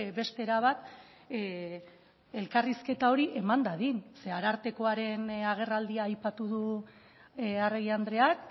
beste era bat elkarrizketa hori eman dadin zeren eta arartekoaren agerraldia aipatu du arregi andreak